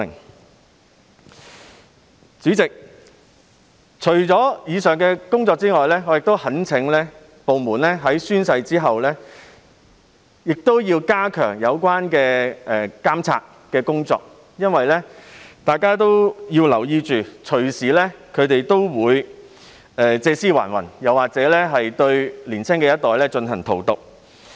代理主席，除了上述工作外，我亦懇請有關部門在完成宣誓後加強監察，因為大家要留意，他們動輒會借屍還魂，又或是荼毒年輕一代。